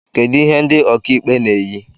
Kedu ihe ndị okaikpe na-eyi